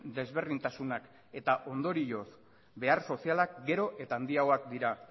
desberdintasunak eta ondorioz behar sozialak gero eta handiagoak dira